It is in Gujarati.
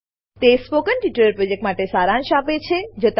તે સ્પોકન ટ્યુટોરીયલ પ્રોજેક્ટનો સારાંશ આપે છે